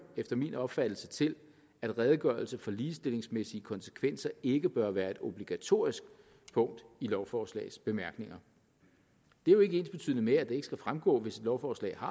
efter min opfattelse til at en redegørelse for ligestillingsmæssige konsekvenser ikke bør være et obligatorisk punkt i lovforslagets bemærkninger det er jo ikke ensbetydende med at det ikke skal fremgå hvis et lovforslag